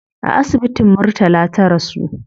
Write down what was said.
A asibitin murtala ta rasu